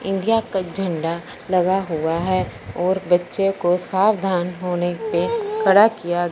India का झंडा लगा हुआ है और बच्चे को सावधान होने पे खड़ा किया--